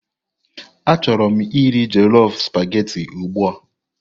Achọrọ m iri jollof supagetii ugbu a.